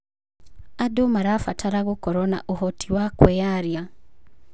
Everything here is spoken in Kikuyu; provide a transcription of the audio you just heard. Andũ marabatara gũkorwo na ũhoti wa kwĩyaria.